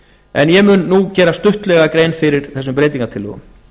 en ég mun nú gera stuttlega grein fyrir þessum breytingartillögum